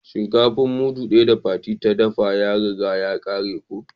Shinkafa mudu daya da Fati da dafa ya riga ya kare ko.